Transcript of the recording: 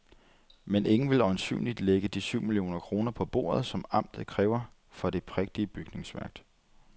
Men ingen vil øjensynligt lægge de syv millioner kroner på bordet, som amtet kræver for det prægtige bygningsværk.